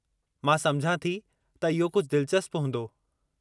मां समुझां थी त इहो कुझु दिलिचस्प हूंदो।